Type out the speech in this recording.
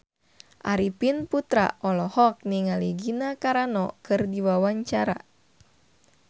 Arifin Putra olohok ningali Gina Carano keur diwawancara